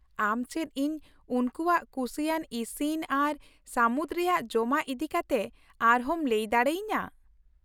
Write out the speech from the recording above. ᱟᱢ ᱪᱮᱫ ᱤᱧ ᱩᱱᱠᱩᱣᱟᱜ ᱠᱩᱥᱤᱭᱟᱱ ᱤᱥᱤᱱ ᱟᱨ ᱥᱟᱹᱢᱩᱫ ᱨᱮᱭᱟᱜ ᱡᱚᱢᱟᱜ ᱤᱫᱤ ᱠᱟᱛᱮ ᱟᱨᱦᱚᱸᱢ ᱞᱟᱹᱭ ᱫᱟᱲᱮᱭᱟᱹᱧᱟᱹ ?